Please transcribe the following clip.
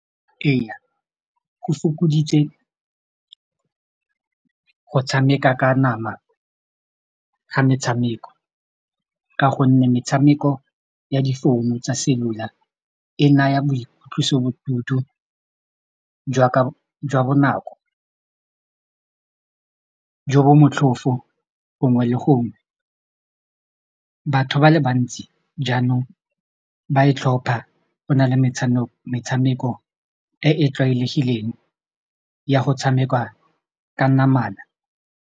Ee, go fokoditse go tshameka ka nama ga metshameko ka gonne metshameko ya difounu tsa cellular e naya boitlosobodutu jwa bonako jo bo motlhofo gongwe le gongwe batho ba le bantsi jaanong ba e tlhopha go na le metshameko metshameko e e tlwaelegileng ya go tshameka ka namana.